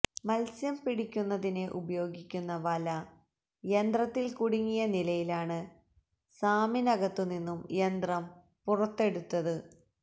മത്സ്യം പിടിക്കുന്നതിന് ഉപയോഗിക്കുന്ന വല യന്ത്രത്തിൽ കുടുങ്ങിയ നിലയിലാണ് സാമിനകത്തു നിന്നും യന്ത്രം പുറത്തെടുത്തത്